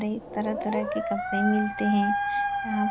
कई तरह-तरह के कपड़े मिलते है यहाँ --